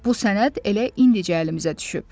Bu sənəd elə indicə əlimizə düşüb.